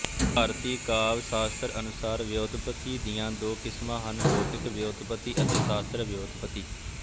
ਭਾਰਤੀ ਕਾਵਿ ਸਾਸਤ੍ਰ ਅਨੁਸਾਰ ਵਿਉਤਪੱਤੀ ਦੀਆ ਦੋ ਕਿਸਮਾਂ ਹਨ ਲੌਕਿਕ ਵਿਉਤਪੱਤੀ ਅਤੇ ਸਾਸਤ੍ਰ ਵਿਉਤਪੱਤੀ